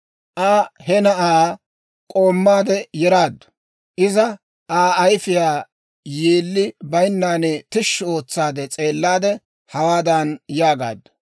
Aa he na'aa k'oommaade yeraaddu; iza Aa ayifiyaa yeelli baynan tishshi ootsa s'eellaade hawaadan yaagaaddu;